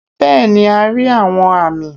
bẹẹni a ri awọn ami